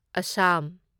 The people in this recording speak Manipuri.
ꯑꯁꯥꯝ